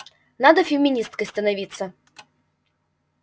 надо феминисткой становиться